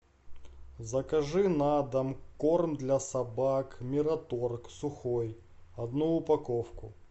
закажи на дом корм для собак мираторг сухой одну упаковку